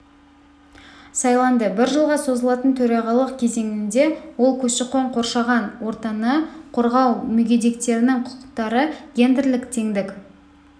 сайланды бір жылға созылатын төрағалық кезеңінде ол көші-қон қоршаған ортаны қорғау мүгедектердің құқықтары гендерлік теңдік